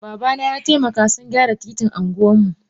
Babana yataimaka sungyara titin anguwanmu.